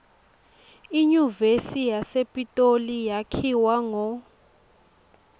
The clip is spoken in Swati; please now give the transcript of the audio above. inyuvesi yasepitoli yakhiwa ngo